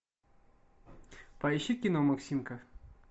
поищи кино максимка